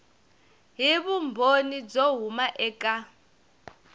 hi vumbhoni byo huma eka